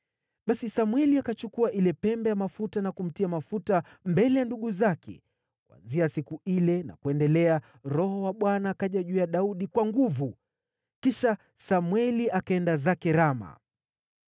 Basi Samweli akachukua ile pembe ya mafuta na kumtia mafuta mbele ya ndugu zake, kuanzia siku ile na kuendelea Roho wa Bwana akaja juu ya Daudi kwa nguvu. Kisha Samweli akaenda zake Rama.